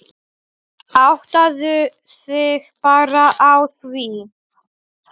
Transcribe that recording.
Áttaðu þig bara á því.